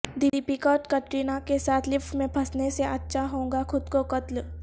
د پیکا اور کترینہ کیساتھ لفٹ میں پھنسنے سے اچھا ہو گا خود کو قتل